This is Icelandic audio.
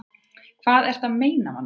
Hvað ertu að meina, manneskja?